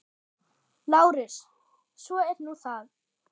LÁRUS: Svo er nú það.